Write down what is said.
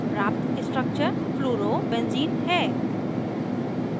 प्राप्त structure fluorobenzene fluorobenzene है